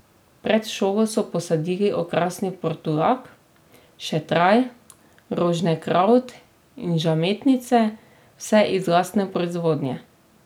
Pred šolo so posadili okrasni portulak, šetraj, roženkravt in žametnice, vse iz lastne proizvodnje.